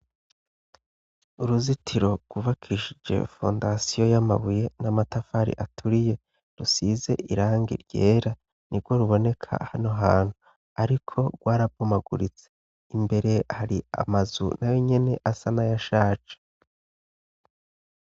Uruzitiro rubakishije fondasiyo y'amabuye n'amatafari aturiye rusize iranga ryera ni rwo ruboneka hano hantu, ariko rwarabumaguritse imbere hari amazu na we nyene asa nayashaje.